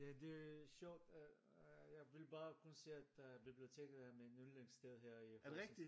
Ja det sjovt jeg vil bare kun sige at biblioteket er mit ynglingssted her i Horsens